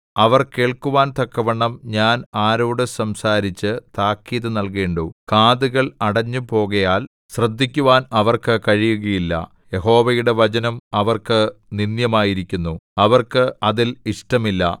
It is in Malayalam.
അവർ കേൾക്കുവാൻ തക്കവണ്ണം ഞാൻ ആരോട് സംസാരിച്ച് താക്കീത് നൽകേണ്ടു കാതുകൾ അടഞ്ഞു പോകയാൽ ശ്രദ്ധിക്കുവാൻ അവർക്ക് കഴിയുകയില്ല യഹോവയുടെ വചനം അവർക്ക് നിന്ദ്യമായിരിക്കുന്നു അവർക്ക് അതിൽ ഇഷ്ടമില്ല